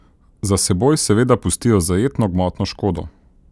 Za seboj seveda pustijo zajetno gmotno škodo.